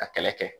Ka kɛlɛ kɛ